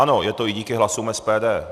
Ano, je to i díky hlasům SPD.